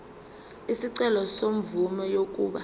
isicelo semvume yokuba